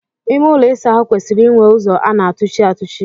Ime ụlọ ịsa ahụ kwesịrị inwe ụzọ a na-atụchi atụchi.